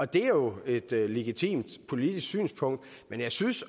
det er jo et legitimt politisk synspunkt men jeg synes